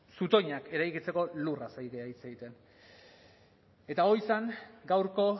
zutoinak eraikitzeko lurraz ari gara hitz egiten eta hori zen gaurko